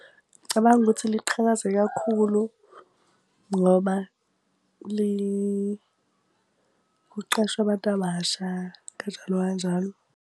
Ngicabanga ukuthi liqhakaze kakhulu ngoba kuqashwa abantu abasha kanjalo kanjalo.